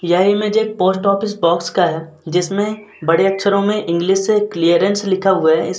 यह इमेज एक post office box का हैं जिसमे बड़े अक्षरों में इंग्लिश से क्लीयरेंस लिखा हुआ हैं। इस --